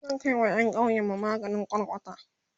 zan Kai wa ƴan ƙauyenmu maganin kwarkwata